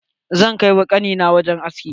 Zan kai ƙani na wajen aski.